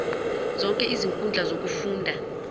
zonke izinkundla zokufunda